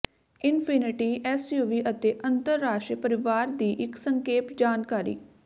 infinity SUV ਅਤੇ ਅੰਤਰਰਾਸ਼ਟਰੀ ਪਰਿਵਾਰ ਦੀ ਇੱਕ ਸੰਖੇਪ ਜਾਣਕਾਰੀ